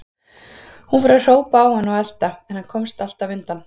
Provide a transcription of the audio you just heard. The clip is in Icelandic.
Hún fór að hrópa á hann og elta, en hann komst alltaf undan.